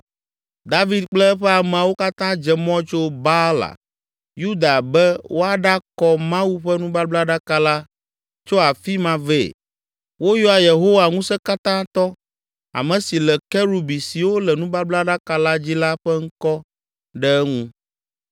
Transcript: David kple eƒe ameawo katã dze mɔ tso Baala Yuda be woaɖakɔ Mawu ƒe nubablaɖaka la tso afi ma vɛ. Woyɔa Yehowa Ŋusẽkatãtɔ, ame si le Kerubi siwo le nubablaɖaka la dzi la ƒe ŋkɔ ɖe eŋu.